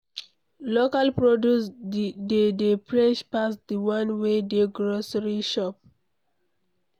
Local produce de dey fresh pass di one wey dey grocery shop